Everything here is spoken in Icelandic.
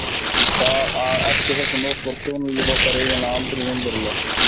Því að eftir þessa nótt varð hjónalíf okkar eiginlega aldrei raunverulegt.